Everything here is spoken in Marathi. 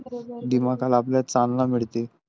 दिमाकाला आपल्या चालना मिडते.